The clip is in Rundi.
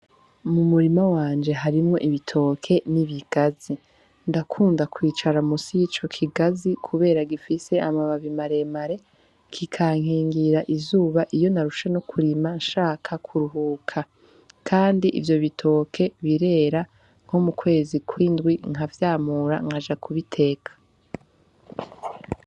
Mu murimo wanje harimwo ibitoke n'ibigazi ndakunda kwicara musi y'ico kigazi, kubera gifise amababi maremare kikankingira izuba iyo narushe no kurima nshaka kuruhuka, kandi ivyo bitoke birera nko mu kwezi kwindwi nkavyamura nkajaa kubiteka.